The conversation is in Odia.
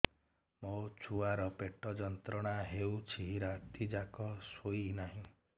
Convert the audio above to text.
ମୋ ଛୁଆର ପେଟ ଯନ୍ତ୍ରଣା ହେଉଛି ରାତି ଯାକ ଶୋଇନାହିଁ